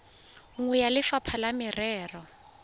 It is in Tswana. nngwe ya lefapha la merero